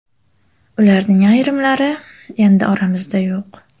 Ularning ayrimlari endi oramizda yo‘q.